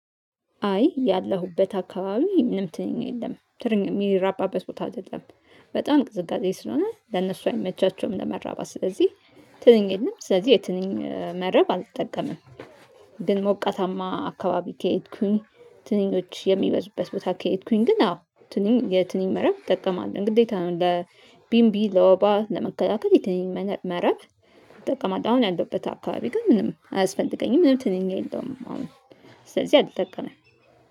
አይ ያለሁበት አካባቢ ምንም ትንኝ የለም ትንኝ የሚራባበት ቦታ አይደለም በጣም ቅዝቃዜ ስለሆነ ለነሱ አይመቻቸውም ለመራባት ስለዚህ ትንኝ የለም ስለዚህ የትንኝ መረብ አልጠቀምም። ግን ሞቀታማ አካባቢ ከሄድኩኝ ትንኞች የሚበዙበት ቦታ ከሄድኩኝ ግን አዎ የትንኝ መረብ እጠቀማለሁ ግዴታ ነው ለቢምቢ ለወባ ለመከላከል የትንኝ መረብ እጠቀማለሁ አሁን ያለሁበት አካባቢ ግን ምንም አያስፈልገኝም ምንም ትንኝ የለውም አሁን ስለዚህ አልጠቀምም